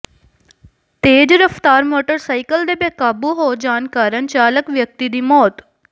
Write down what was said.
ਤੇਜ਼ ਰਫ਼ਤਾਰ ਮੋਟਰਸਾਈਕਲ ਦੇ ਬੇਕਾਬੂ ਹੋ ਜਾਣ ਕਾਰਨ ਚਾਲਕ ਵਿਅਕਤੀ ਦੀ ਮੌਤ